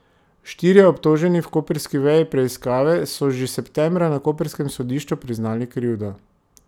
Štirje obtoženi v koprski veji preiskave so že septembra na koprskem sodišču priznali krivdo.